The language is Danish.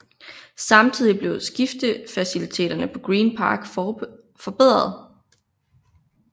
Samtidig blev skiftefaciliteterne på Green Park forbedret